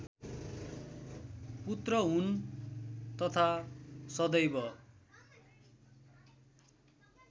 पुत्र हुन् तथा सदैव